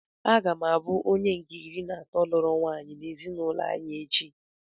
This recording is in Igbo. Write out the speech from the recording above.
Aga m abụ onye nke iri na atọ lụrụ nwaanyị n'ezinụlọ anyị echi.